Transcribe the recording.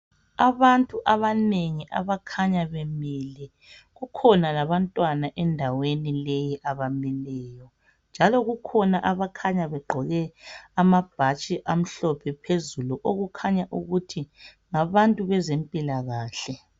Abantu abanengi abakhanya bemile kukhona labantwana endaweni leyi abami kuyo njalo kukhona abakhanya begqoke amabhatshi amhlophe phezulu okukhanya ukuthi ngabantu bezempilakahle.